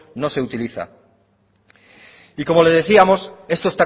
no se utiliza y como le decíamos esto